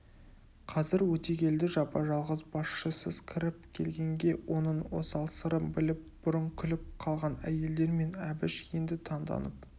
қазір өтегелді жапа-жалғыз басшысыз кіріп келгенге оның осал сырын біліп бұрын күліп қалған әйелдер мен әбіш енді таңданып